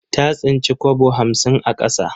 Ta tsinci kwabo hamsin a ƙasa.